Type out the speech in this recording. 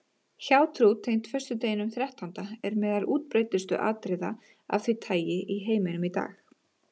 Hjátrú tengd föstudeginum þrettánda er meðal útbreiddustu atriða af því tagi í heiminum í dag.